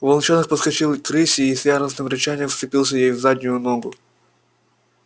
волчонок подскочил к рыси и с яростным рычанием вцепился ей в заднюю ногу